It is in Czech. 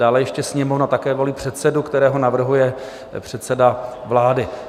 Dále ještě Sněmovna také volí předsedu, kterého navrhuje předseda vlády.